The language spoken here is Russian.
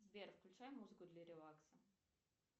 сбер включай музыку для релакса